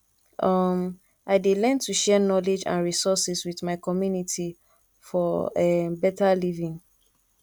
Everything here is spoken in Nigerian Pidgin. um i dey learn to share knowledge and resources with my community for um better living